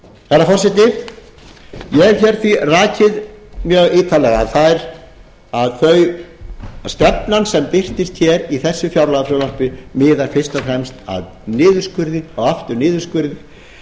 herra forseti ég hef hér því rakið mjög ítarlega að stefnan sem birtist hér í þessu fjárlagafrumvarpi miðar fyrst og fremst að niðurskurði og aftur niðurskurði